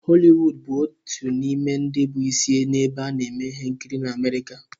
Holiwuud bụ otu n'ime ndi bụ isi nebe a neme ihe nkiri na Amerika.